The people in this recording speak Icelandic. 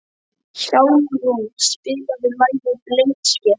Hjálmrún, spilaðu lagið „Blindsker“.